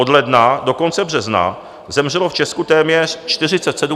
Od ledna do konce března zemřelo v Česku téměř 47 000 lidí.